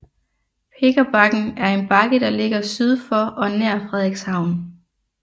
Pikkerbakken er en bakke der ligger syd for og nær Frederikshavn